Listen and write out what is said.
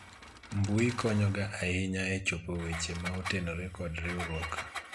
mbui konyo ga ahinya e chopo weche ma otenore kod riwruok